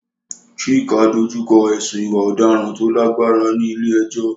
Chike dojú kọ ẹ̀sùn ìwà ọ̀daràn tó lágbára ní ilé ẹjọ́.